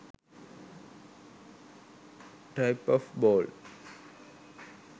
type of bald